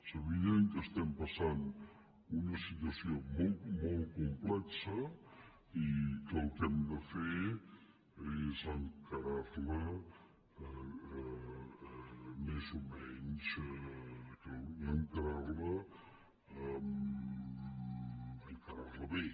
és evident que estem passant una situació molt complexa i que el que hem de fer és encarar la més o menys encarar la bé